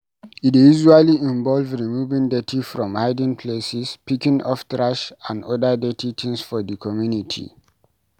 E dey usually involve removing dirty from hidden places, picking up trash and oda dirty things for di community